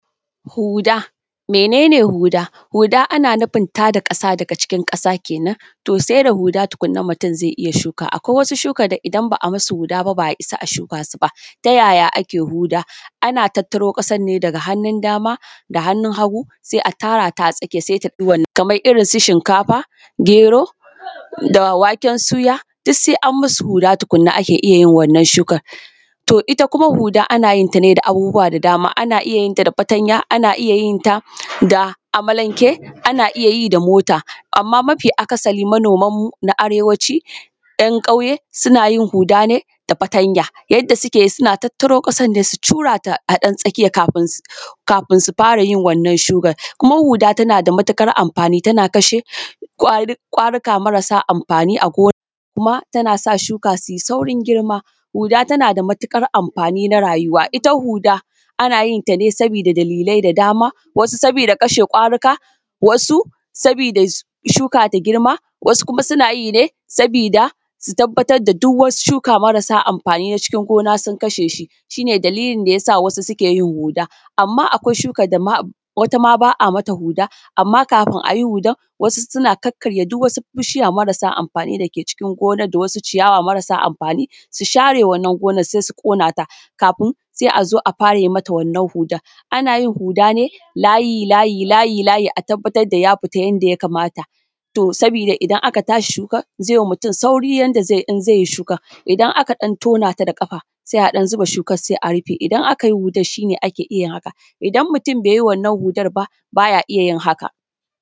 Huɗa. Mene ne huɗa? Huda ana nufin tada ƙasa daga cikin ƙasa kenan to sai da huda kenan mutum zai yi iya shuka, akwai wasu shuka da idan ba a musu huda ba, ba a isa ba a shuka su ba. Ta yaya ake huda? Ana tattaro ƙasan ne daga hannun dama da hannun hagu sai a tara ta a tsakiya, kamar irin su shinkafa, gero da waken suya duk sai an musu huda tukunna ake iya wannan shukan. To ita kuma huda ana iya yin ta ne da abubuwa da dama ana iya yin ta da fatanya, ana iya yin ta da amalanke, ana iya yi da mota, amma mafi akasari manoman mu na arewaci ‘yan ƙauye suna yin huda ne da fatanya. Yadda suke yi suna tattaro ƙasan ne suna cura ta a ɗan tsakiya kafin su fara yin wannan shukan, kuma huda tana da matuƙar amfani tana kashe kwari marasa amfani a gona kuma tana sa shuka su yi saurin girma, huda tana da matukar amfani na rayuwa ita huda an yi ta ne saboda wasu dalilai da dama, wasu saboda kwarika, wasu saboda shuka ta girma, wasu kuma suna yi ne saboda su tabbatar da duk wasu shuka marasa amfani na gona sun kasha shi, shi ne dalilin da ya sa wasu suke huda. Amma akwai shukan da wata ma ba a mata huda, amma kafin a yi hudan wasu suna kakkarya duk wasu bishiya marasa amfani da wasu ciyawa marasa amfani, su share wannan gonan sai su ƙonata kafin sai a zo a yi mata wannan hudan, ana yin huda ne layi-layi-layi-layi a tabbatar da ya fita yadda ya kamata. Saboda idan aka tashi shukan zai ma mutum sauri yanda zai yi in zai yi shukan, idan aka ɗan tona ta da kafa sai a ɗan zuba shukan, sai a rufe. Idan aka yi hudan shi ne ake iya yin haka, idan mutum bai yi wannan hudan ba ba ya iya yin hakan.